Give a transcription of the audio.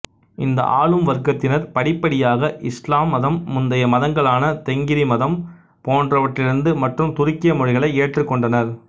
இந்த ஆளும் வர்க்கத்தினர் படிப்படியாக இஸ்லாம் மதம் முந்தைய மதங்களான தெங்கிரி மதம் போன்றவற்றிலிருந்து மற்றும் துருக்கிய மொழிகளை ஏற்றுக்கொண்டனர்